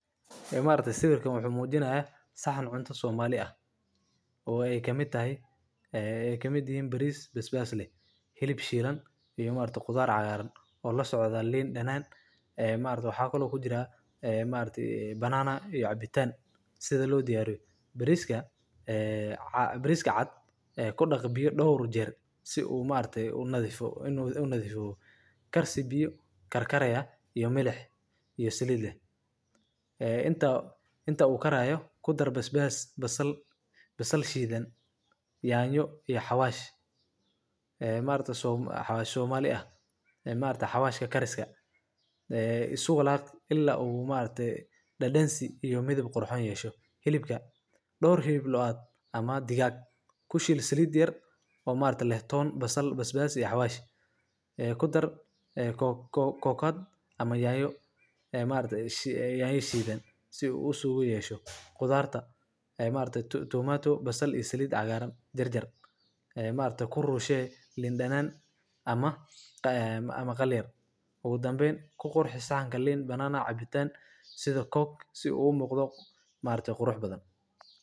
E maragtay sawirkan wuxu mujina saxan cunta Somali ah o ay kamid tahay e kamid yahin baris, basbas leh, hilib shilan, iyo khudar cagaran, o lasocda liin danan e maaragtay waxa kalo kujira e maragtay Banana iyo cabitan sida lo diyaariyo bariska caad kudaq biyo dhowr jeer si u nadhifo karsi biiyo karkaraya meelix iyo salaid leeh e inta u karayo kudar basbas, basal shidan , yanyo iyo xawash. E maragta xawash somali ah e maragta xaswashka isku walaq ila u maragte dadansi hilib qurxoon yeesho dhowr hilib looad ama digag kushiil salid yar o maragtay leeh toon basal, basbas iyo xawash. E kudar kokad ama yanyo e maragtay yanya shidan si u uyesho qudarta e maragtay tomato basal iyo salid cagaran jarjar e maargtay kurushey liin danan ama qalyar ugu dambeyn saxan lin danan cabitan sida Cook si ugu muqdo macan